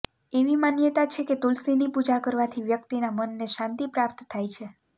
એવી માન્યતા છે કે તુલસીની પૂજા કરવાથી વ્યક્તિના મનને શાંતિ પ્રાપ્ત થાય છે